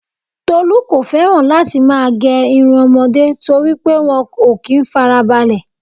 Tolu kò feran láti má gé irun ọmọde toripe wọn ò kí n fara balẹ